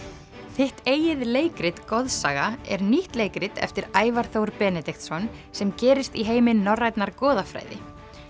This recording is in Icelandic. þitt eigið leikrit goðsaga er nýtt leikrit eftir Ævar Þór Benediktsson sem gerist í heimi norrænnar goðafræði